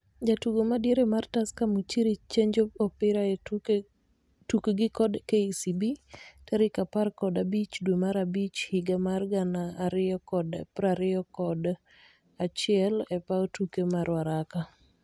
Jatugo madiere mar Tusker Muchiri chenjo opira e tukgi kod KCB tarik apar kod abich dwe mar abich higa mar gan ariyokod prariyokod achiel e paw tuke ma Ruaraka